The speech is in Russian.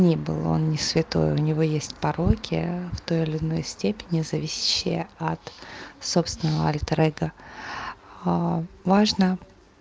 не был он не святой у него есть пороки в той или иной степени зависящие от собственного альтер эго важно